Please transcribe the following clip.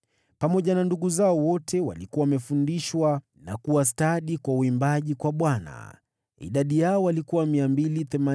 Pamoja na ndugu zao wote walikuwa wamefundishwa na kuwa stadi wa uimbaji kwa Bwana . Idadi yao walikuwa 288.